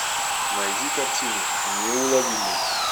найди картину неуловимый